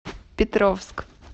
петровск